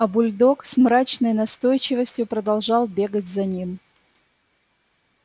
а бульдог с мрачной настойчивостью продолжал бегать за ним